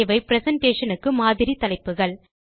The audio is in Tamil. இவை பிரசன்டேஷன் க்கு மாதிரி தலைப்புகள்